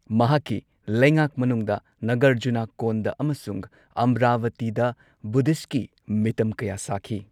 ꯃꯍꯥꯛꯀꯤ ꯂꯩꯉꯥꯛ ꯃꯅꯨꯡꯗ ꯅꯒꯔꯖꯨꯅꯀꯣꯟꯗ ꯑꯃꯁꯨꯡ ꯑꯃꯔꯚꯇꯤꯗ ꯕꯨꯙꯤꯁꯠꯀꯤ ꯃꯤꯇꯝ ꯀꯌꯥ ꯁꯥꯈꯤ꯫